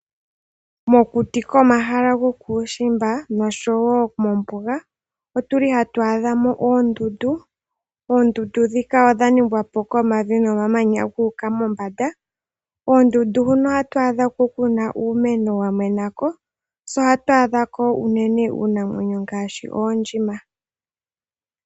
Mokuti komahala gokuushimba nosho wo mombuga otuli hatu adhamo oondundu. Oondundu dhika odha ningwa po komavi nomamanya guuka mombanda. Oondundu huno ohatu adhako kuna uumeno wamenako se ohatu adhako uunene uunamwenyo ngaashi, oondjima.